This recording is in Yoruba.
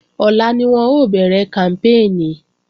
Ọ̀la ni wọn ó bẹ̀rẹ̀ kàmpéènì